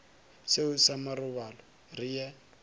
seo sa marobalo re ye